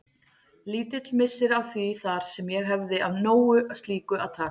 Lítill missir að því þar sem ég hefði af nógu slíku að taka.